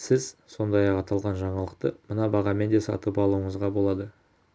сіз сондай-ақ аталған жаңалықты мына бағамен де сатып алуыңызға болады